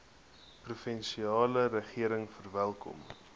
provinsiale regering verwelkom